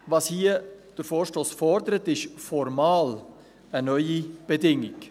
Was der Vorstoss hier fordert, ist formal eine neue Bedingung.